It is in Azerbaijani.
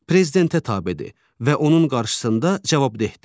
Prezidentə tabedir və onun qarşısında cavabdehdir.